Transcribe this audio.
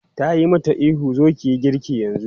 Ta yi mata ihu 'zo ki yi girki yanzu!'